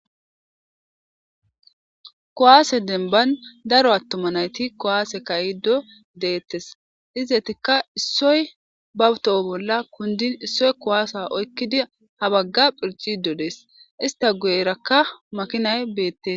kuwasse demban darro atuma nayit kuase kayido detesi izetika isoyi bawu toho bolla kundini isoyi kuwasa oyikidi ha bagga kichid dessi ista guyeraka makinayi betesi